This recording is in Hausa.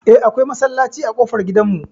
Eh, akwai masallaci a ƙofar gidan mu.